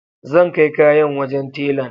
Zan kai kayan wajen telan